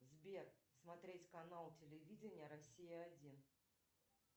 сбер смотреть канал телевидения россия один